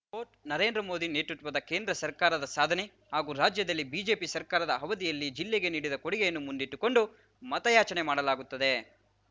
coat Narendra Modi ನೇತೃತ್ವದ ಕೇಂದ್ರ ಸರ್ಕಾರದ ಸಾಧನೆ ಹಾಗೂ ರಾಜ್ಯದಲ್ಲಿ ಬಿಜೆಪಿ ಸರ್ಕಾರದ ಅವಧಿಯಲ್ಲಿ ಜಿಲ್ಲೆಗೆ ನೀಡಿದ ಕೊಡುಗೆಯನ್ನು ಮುಂದಿಟ್ಟುಕೊಂಡು ಮತಯಾಚನೆ ಮಾಡಲಾಗುತ್ತದೆ